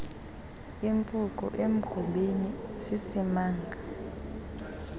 impuku emgubeni sisimanga